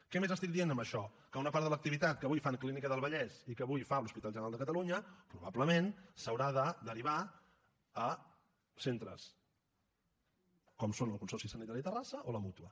què més estic dient amb això que una part de l’activitat que avui fa la clínica del vallès i que avui fa l’hospital general de catalunya probablement s’haurà de derivar a centres com són el consorci sanitari de terrassa o la mútua